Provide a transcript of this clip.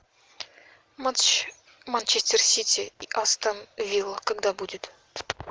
матч манчестер сити и астон вилла когда будет